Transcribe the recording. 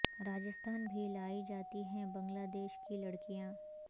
راجستھان بھی لائی جاتی ہیں بنگلہ دیش کی لڑکیاں